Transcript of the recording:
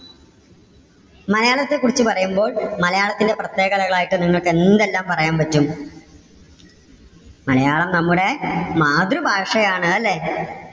മലയാളത്തെ കുറിച്ച് പറയുമ്പോൾ മലയാളത്തിന്റെ പ്രത്യേകതകൾ ആയിട്ട് നിങ്ങൾക്ക് എന്തെല്ലാം പറയാൻ പറ്റും? മലയാളം നമ്മുടെ മാതൃഭാഷയാണ് അല്ലേ?